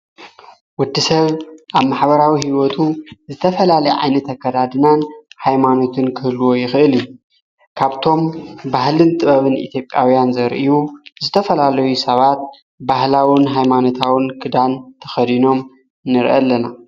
ወዲ ሰብ ኣብ ማሓበራዊ ሕይወቱ ዝተፈላለየ ዓይኒት አ ከዳድናን ኃይማኖትን ክህልዎ ይኽእል ካብቶም ባህልን ጥበብን ኢትዮጵያውያን ዘርእዩ ዝተፈላለዊ ሰባት ባህላውን ኃይማኖታውን ግዳን ተኸዲኖም ንርኢ ኣለና::